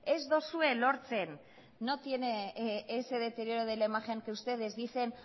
ez duzue lortzen no tiene ese deterioro de la imagen que ustedes dicen